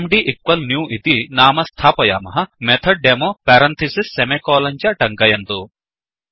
MD newइति नाम स्थापयामः MethodDemoमेथड् डॆमो पेरन्थिसिस् सेमिकोलन् च तङ्कयन्तु